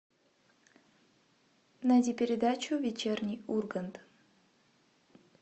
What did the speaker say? найди передачу вечерний ургант